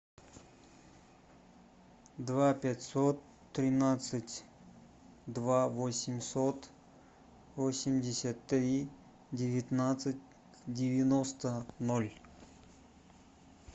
два пятьсот тринадцать два восемьсот восемьдесят три девятнадцать девяносто ноль